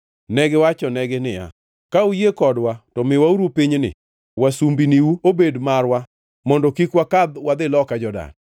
Negiwachonegi niya, “Ka uyie kodwa, to miwauru pinyni wasumbiniu obed marwa mondo kik wakadh wadhi loka Jordan.”